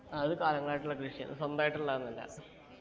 ആ അത് കാലങ്ങളായിട്ടുള്ള കൃഷി ആണ് സ്വന്തായിട്ട് ഉള്ളതൊന്നു അല്ല